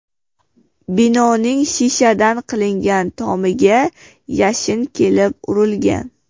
Binoning shishadan qilingan tomiga yashin kelib urilgan.